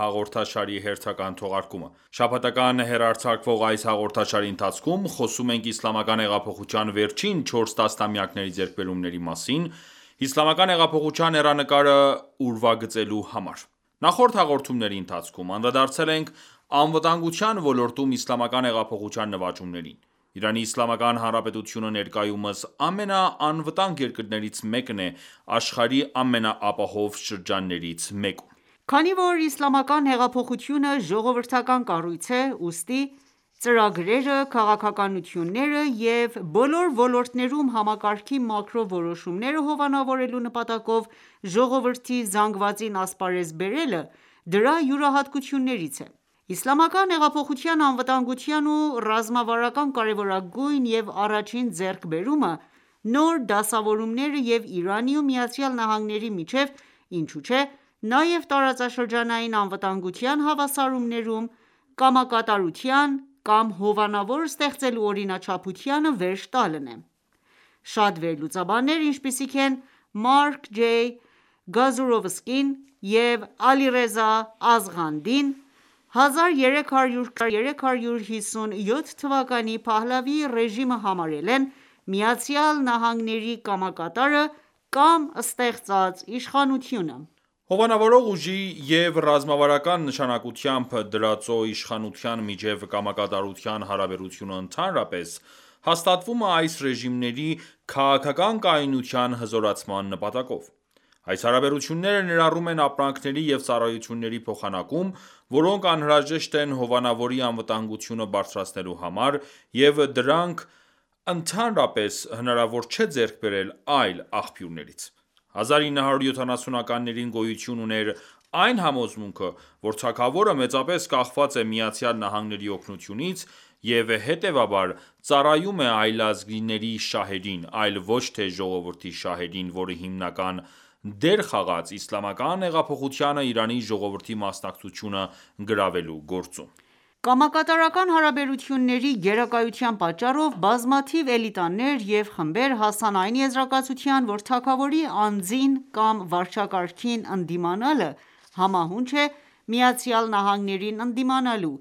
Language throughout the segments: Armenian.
հաղորդաշարի հերթական թողարկումը:Շաբաթական հեռարձակվող այս հաղորդաշարի ընթացքում խոսում ենք Իսլամական հեղափոխության վերջին 4 տասնամյակների ձեռքբերումների մասին՝ իսլամական հեղափոխության հեռանկարը ուրվագծելու համար:Նախորդ հաղորդումների ընթացքում անդրադարձել ենք՝անվտանգության ոլորտում Իսլամական հեղափոխության նվաճումներին:Իրանի Իսլամական Հանրապետությունը ներկայումս ամենաանվտանգ երկրներից մեկն է աշխարհի ամենաանապահով շրջաններից մեկում:Քանի որ Իսլամական հեղափոխությունը ժողովրդական կառույց է ,ուստի ծրագրերը, քաղաքականությունները և բոլոր ոլորտներում համակարգի մակրո որոշումները հովանավորելու նպատակով ժողովրդի զանգվածին ասպարեզ բերելը, դրա յուրահատկություններից է: Իսլամական հեղափոխության անվտանգության ու ռազմավարական կարևորագույն և առաջին ձեռքբերումը՝նոր դասավորումները և Իրանի ու ԱՄՆ-ի միջև, ինչու չէ նաև տարածաշրջանային անվտանգության հավասարումներում, կամակատարության կամ հովանավոր ստեղծելու օրինաչափությանը վերջ տալն էր:Շատ վերլուծաբաններ, ինչպիսիք են Մարկ Ջ. Գազուրովսկին և Ալիռեզա Ազղանդին,(1320-ից 1357 թվականի Փահլավի ռեժիմը համարել են ԱՄՆ-ի կամակատարը (կամ ստեղծած) իշխանությունը: Հովանավորող ուժի և ռազմավարական նշանակությամբ դրածո իշխանության միջև կամակատարության հարաբերությունը ընդհանրապես հաստատվում է այս ռեժիմների քաղաքական կայունության հզորացման նպատակով: Այս հարաբերությունները ներառում են ապրանքների և ծառայությունների փոխանակում, որոնք անհրաժեշտ են հովանավորի անվտանգությունը բարձրացնելու համար և դրանք ընդհանրապես հնարավոր չէ ձեռք բերել այլ աղբյուրներից:1970-ականներին գոյություն ուներ այն համոզմունքը, որ թագավորը մեծապես կախված է ԱՄՆ-ի օգնությունից և հետևաբար, ծառայում է այլազգիների շահերին, այլ ոչ թե ժողովրդի շահերին, որը հիմնական դեր խաղաց ՝ Իսլամական հեղափոխությանը Իրանի ժողովրդի մասնակցությունը գրավելու գործում։ Կամակատարական հարաբերությունների գերակայության պատճառով, բազմաթիվ էլիտաներ և խմբեր հասան այն եզրակացության, որ թագավորի անձին կամ վարչակարգին ընդդիմանալը համահունչ է ԱՄՆ-ին ընդդիմանալու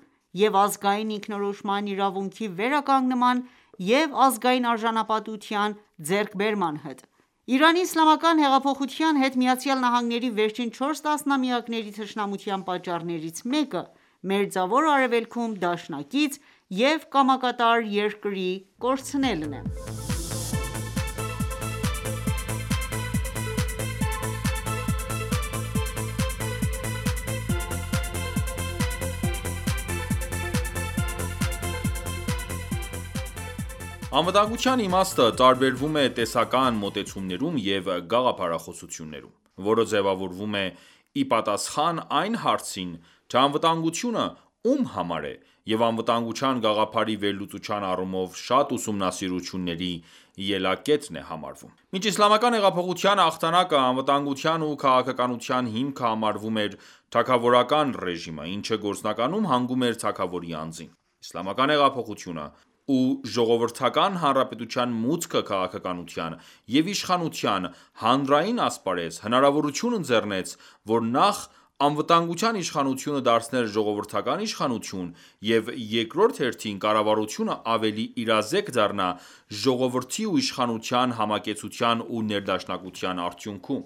և ազգային ինքնորոշման իրավունքի վերականգնման և «ազգային արժանապատվության» ձեռքբերման հետ:Իրանի Իսլամական հեղափոխության հետ ԱՄՆ-ի վերջին չորս տասնամյակների թշնամության պատճառներից մեկը Մերձավոր Արևելքում դաշնակցի և կամակատար երկրի կորցնելն է։ Անվտանգության իմաստը տարբերվում է տեսական մոտեցումներում և գաղափարախոսություններում ,որը ձևավորվում է իպատասխան այն հարցին թե՝անվտանգությունը ո՞ւմ համար է,և անվտանգության գաղափարի վերլուծության առումով շատ ուսումնասիրությունների ելակետն է համարվում: Մինչ Իսլամական հեղափոխության հաղթանակը ,անվտանգության ու քաղաքականության հիմքը համարվում էր «թագավորական ռեժիմը»,ինչը գործնականում հանգում էր թագավորի անձին: Իսլամական հեղափոխությունը և Ժողովրդական Հանրապետության մուտքը քաղաքականության և իշխանության հանրային ասպարեզ, հնարավորություն ընձեռեց որ նախ, անվտանգության իշխանությունը դարձնել ժողովրդական իշխանություն և երկրորդ հերթին կառավարությունը ավելի իրազեկ դառնա ժողովրդի ու իշխանության համակեցության ու ներդաշնակության արդյունքում։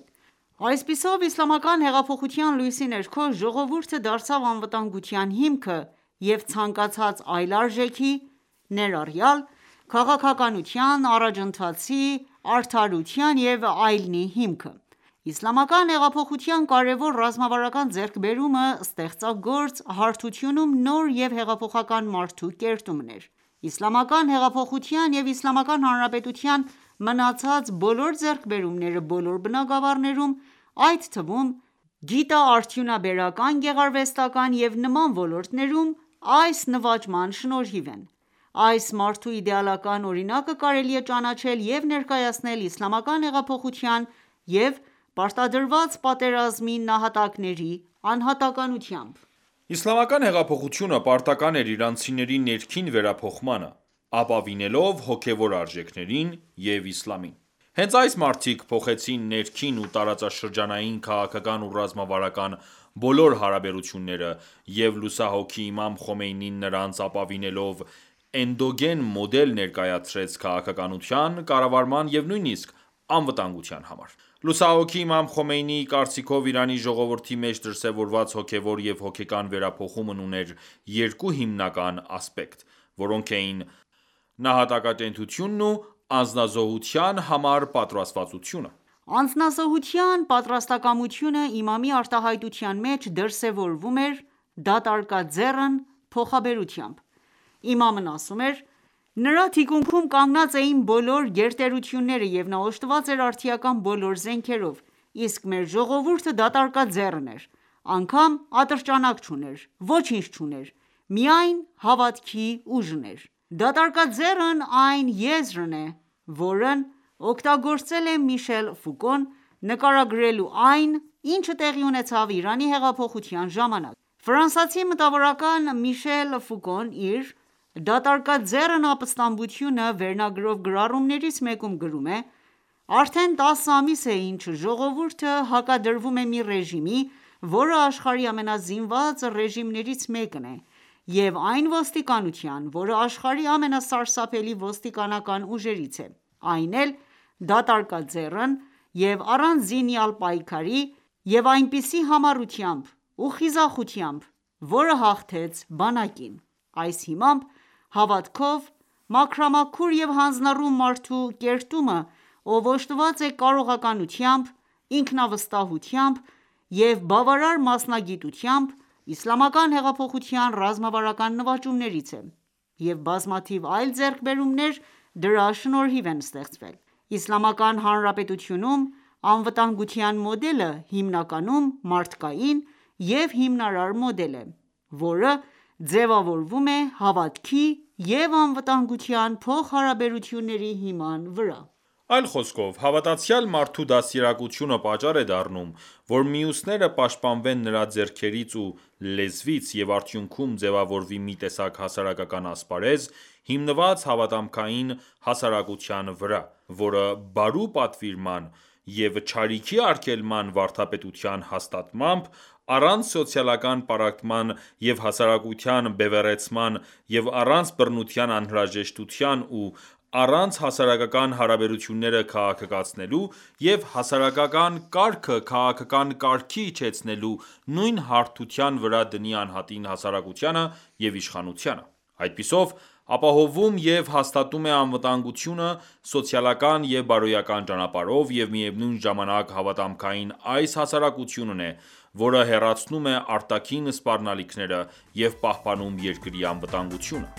Այսպիսով, իսլամական հեղափոխության լույսի ներքո ժողովուրդը դարձավ անվտանգության հիմքը և ցանկացած այլ արժեքի, ներառյալ՝ քաղաքականության,, առաջընթացի, արդարության և այլնի հիմքը:Իսլամական հեղափոխության կարևոր ռազմավարական ձեռքբերումը ստեղծագործ հարթությունում նոր և հեղափոխական մարդու կերտումն էր:Իսլամական հեղափոխության և Իսլամական Հանրապետության մնացած բոլոր ձեռքբերումները բոլոր բնագավառներում, այդ թվում՝ գիտաարդյունաբերական-գեղարվեստական ​​և նման ոլորտներում, այս նվաճման շնորհիվ են։ Այս մարդու իդեալական օրինակը կարելի է ճանաչել և ներկայացնել Իսլամական հեղափոխության և պարտադրված պատերազմի նահատակների անհատականությամբ։ Իսլամական հեղափոխությունը պարտական ​​էր իրանցիների ներքին վերափոխմանը` ապավինելով հոգևոր արժեքներին և իսլամին:Հենց այս մարդիկ փոխեցին ներքին ու տարածաշրջանային քաղաքական ու ռազմավարական բոլոր հարաբերությունները և լուսահոգի Իմամ Խոմեյնին նրանց ապավինելով էնդոգեն մոդել ներկայացրեց քաղաքականության, կառավարման և նույնիսկ անվտանգության համար:Լուսահոգի Իմամ Խոմեյնիի կարծիքով՝ Իրանի ժողովրդի մեջ դրսևորված հոգեւոր և հոգեկան վերափոխումն ուներ երկու հիմնական ասպեկտ.որոնք էին՝ նահատակատենչությունն ու անձնազոհության համար պատրաստվածությունը:Անձնազոհության պատրաստակամությունը իմամի արտահայտության մեջ՝ դրսևորվում էր «դատարկաձեռն» փոխաբերությամբ: Իմամն ասում էր .«Նրա թիկունքում կանգնած էին բոլոր գերտերությունները, և նա օժտված էր արդիական բոլոր զենքերով, իսկ մեր ժողովուրդը դատարկաձեռն էր։ Անգամ ատրճանակ չուներ: Ոչինչ չուներ, միայն հավատքի ուժն էր»:« «Դատարկաձեռն» այն եզրն է, որն օգտագործել է Միշել Ֆուկոն՝ նկարագրելու այն, ինչը տեղի ունեցավ Իրանի հեղափոխության իր «Դատարկաձեռն ապստամբությունը» վերնագրով գրառումներից մեկում գրում է..«Արդեն տասը ամիս է, ինչ ժողովուրդը հակադրվում է մի ռեժիմի, որը աշխարհի ամենազինված ռեժիմներից մեկն է, և այն ոստիկանության, որը աշխարհի ամենասարսափելի ոստիկանական ուժերից է։Այն էլ դատարկաձեռն և առանց զինյալ պայքարի և այնպիսի համառությամբ ու խիզախությամբ, որը հաղթեց բանակին»։Այս հիմամբ հավատքով, մաքրամաքուր և հանձնառու մարդու կերտումը ,ով օժտված է կարողականությամբ ,ինքնավստահությամբ և բավարար մասնագիտությամբ ,Իսլամական հեղափոխության ռազմավրական նվաճումներից է ,և բազմաթիվ այլ ձեռքբերումներ դրա շնորհիվ են ստեղծվել: Իսլամական Հանրապետությունում անվտանգության մոդելը հիմնականում մարդկային և հիմնարար մոդել է, որը ձևավորվում է հավատքի և անվտանգության փոխհարաբերությունների հիման վրա: Այլ խոսքով հավատացյալ մարդու դաստիարակությունը պատճառ է դառնում, որ մյուսները պաշտպանվեն նրա ձեռքերից ու լեզվից, և արդյունքում ձևավորվի մի տեսակ հասարակական ասպարեզ՝ հիմնված հավատամքային հասարակության վրա, որը բարու պատվիրման և չարիքի արգելման վարդապետության հաստատմամբ՝ առանց սոցիալական պառակտման և հասարակության բևեռացման և առանց բռնության անհրաժեշտության և առանց հասարակական հարաբերությունները քաղաքականացնելու և հասարակական կարգը քաղաքական կարգի իջեցնելու, նույն հարթության վրա դնի անհատին, հասարակությանը և իշխանությանը:Այդպիսով ապահովում և հաստատում է անվտանգությունը սոցիալական և բարոյական ճանապարհով և միևնույն ժամանակ հավատամքային այս հասարակությունն է ,որը հեռացնում է արտաքին սպառնալիքները և պահպանում երկրի անվտանգությունը:Իսլամական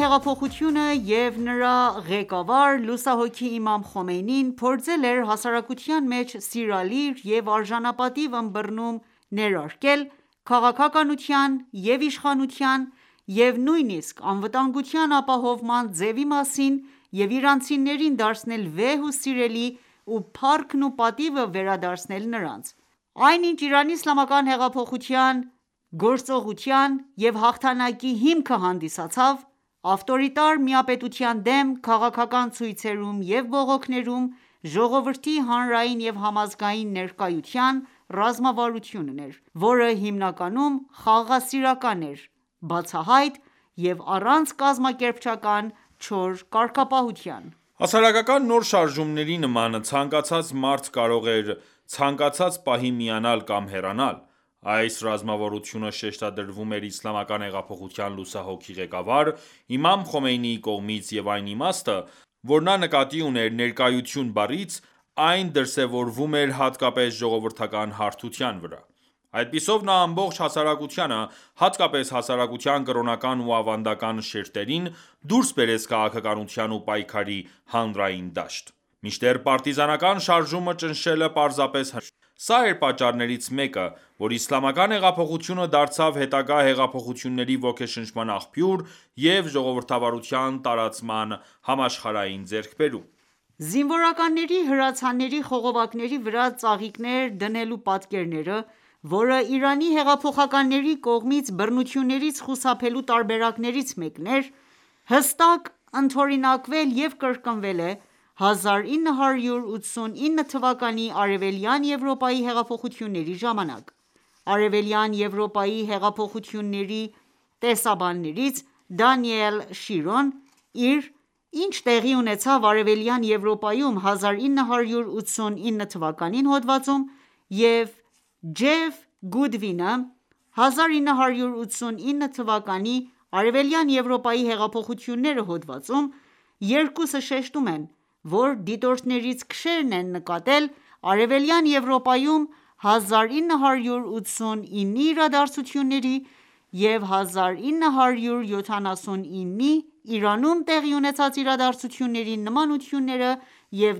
հեղափոխությունը և նրա ղեկավար՝ լուսահոգի Իմամ Խոմեյնին փորձել էր հասարակության մեջ սիրալիր և արժանապատիվ ըմբռնում ներարկել քաղաքականության և իշխանության, և նույնիսկ անվտանգության ապահովման ձևի մասին և իրանցիներին դարձնել վեհ ու սիրելի ու փառքն ու պատիվը վերադարձնել նրանց:Այն ինչ՝ Իրանի Իսլամական հեղափոխության գործողության և հաղթանակի հիմքը հանդիսացավ ավտորիտար միապետության դեմ քաղաքական ցույցերում և բողոքներում, «ժողովրդի հանրային և համազգային ներկայության» ռազմավարությունն էր, որը հիմնականում խաղաղասիրական էր, բացահայտ,և առանց կազմակերպչական չոր կարգապահության:Հասարակական նոր շարժումների նման, ցանկացած մարդ կարող էր ցանկացած պահի միանալ կամ հեռանալ:Այս ռազմավարությունը շեշտադրվում էր Իսլամական հեղափոխության լուսահոգի ղեկավար Իմամ Խոմեյնիի կողմից և այն իմաստը, որ նա նկատի ուներ «ներկայություն» բառից, այն դրսևորվում էր հատկապես ժողովրդական հարթության վրա:Այդպիսով նա ամբողջ հասարակությանը, հատկապես հասարակության կրոնական ու ավանդական շերտերին, դուրս բերեց քաղաքականության ու պայքարի հանրային դաշտ:Մինչդեռ պարտիզանական շարժումը ճնշելը պարզապես հնարավոր էր։ Սա էր պատճառներից մեկը, որ Իսլամական հեղափոխությունը դարձավ հետագա հեղափոխությունների ոգեշնչման աղբյուր և ժողովրդավարության տարածման համաշխարհային ձեռքբերում։ Զինվորականների հրացանների խողովակների վրա ծաղիկներ դնելու պատկերները, որը Իրանի հեղափոխականների կողմից բռնություններից խուսափելու տարբերակներից մեկն էր, հստակ ընդօրինակվել և կրկնվել է 1989 թվականի Արևելյան Եվրոպայի հեղափոխությունների ժամանակ։ Արեւելյան Եվրոպայի հեղափոխությունների տեսաբաններից Դանիել Շիրոն իր «Ի՞նչ տեղի ունեցավ Արեւելյան Եվրոպայում 1989 թվականին» հոդվածում և Գուդվինը «1989 թվականի Արևելյան Եվրոպայի հեղափոխությունները»հոդվածում ,երկուսը շեշտում են ,որ դիտորդներից քչերն են նկատել Արևելյան Եվրոպայում 1989-ի իրադարձությունների և 1979-ի Իրանում տեղի ունեցած իրադարձությունների նմանությունները և